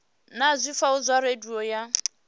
na zwifhao zwa radio ya